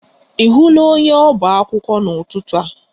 Ị hụla onye ọba akwụkwọ n'ụtụtụ a?